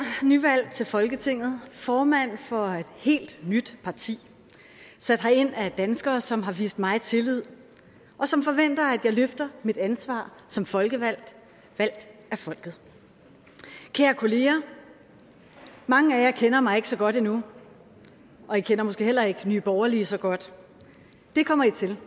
nyvalgt til folketinget formand for et helt nyt parti sat herind af danskere som har vist mig tillid og som forventer at jeg løfter mit ansvar som folkevalgt valgt af folket kære kolleger mange af jer kender mig ikke så godt endnu og i kender måske heller ikke nye borgerlige så godt det kommer i til